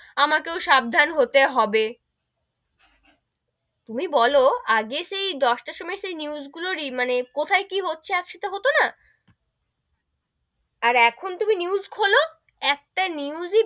আমাকেও সাবধান হতে হবে, তুমি বোলো আগে সেই দশ টার সময় সে news গুলোরই মানে কোথায় কি হচ্ছে একসাথে হতো না, আর এখন তুমি news খোলো, একটা news ই,